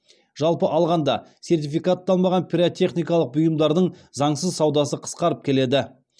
жалпы алғанда сертификатталмаған пиротехникалық бұйымдардың заңсыз саудасы қысқарып келеді